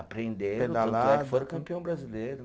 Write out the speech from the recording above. Aprenderam, tanto é que foram campeão brasileiro.